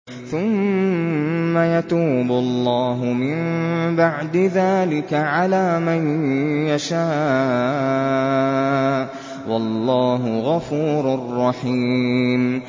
ثُمَّ يَتُوبُ اللَّهُ مِن بَعْدِ ذَٰلِكَ عَلَىٰ مَن يَشَاءُ ۗ وَاللَّهُ غَفُورٌ رَّحِيمٌ